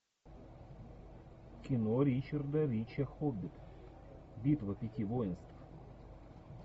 кино ричарда ричи хоббит битва пяти воинств